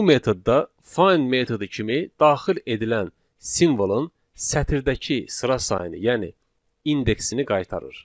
Bu metodda find metodu kimi daxil edilən simvolun sətirdəki sıra sayını, yəni indeksini qaytarır.